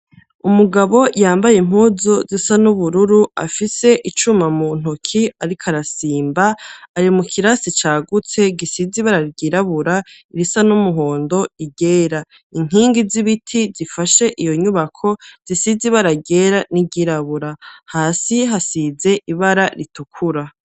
Umugabo yambaye impuzu zisa n'ubururu afise icuma mu ntoki ariko arasimba ari mu kirasi cagutse gisizi ibara ryirabura irisa n'umuhondo iryera, inkingi z'ibiti zifashe iyo nyubako zisize ibara ryera n'iryirabura hasi hasize ibara ritukura.